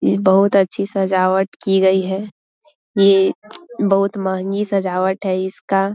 ये बहुत अच्छी सजावट की गई है ये बहुत महँगी सजावट है इसका --